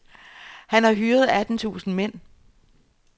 Han har hyret atten tusinde mænd.